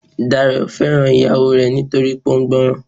Dayọ̀ nífẹ̀ẹ́ ìyàwó rẹ̀ nítorí pé ó gbọ́ran.